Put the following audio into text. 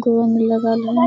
गोंद लगा है ।